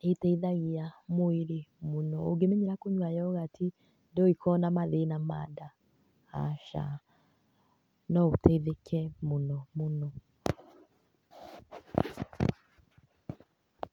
nĩ ĩteithagia mwĩrĩ mũno. Ũngĩmenyera kũnyua yoghurt ndũngĩkorwo na mathĩna ma nda, aca. No ũteithĩke mũno mũno.